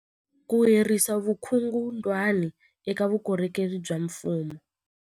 Ku herisa vukungundwani eka vukorhokeri bya mfumo